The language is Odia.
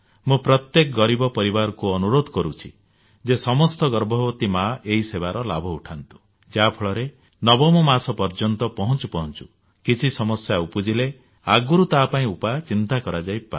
ମୁଁ ପ୍ରତ୍ୟେକ ଗରିବ ପରିବାରକୁ ଅନୁରୋଧ କରୁଛି ଯେ ସମସ୍ତ ଗର୍ଭବତୀ ମାଆ ଏହି ସେବାର ଲାଭ ଉଠାନ୍ତୁ ଯାହା ଫଳରେ ନବମ ମାସ ପର୍ଯ୍ୟନ୍ତ ପହଞ୍ଚୁ ପହଞ୍ଚୁ କିଛି ସମସ୍ୟା ଉପୁଜିଲେ ଆଗରୁ ତା ପାଇଁ ଉପାୟ ଚିନ୍ତା କରାଯାଇପାରେ